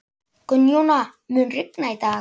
Gunnjóna, mun rigna í dag?